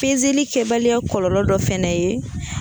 kɛbaliya kɔlɔlɔ dɔ fɛnɛ ye